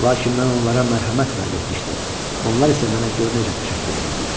Lakin mən onlara mərhəmət vəd etmişdim, onlar isə mənə gör necə təşəkkür eləyirlər.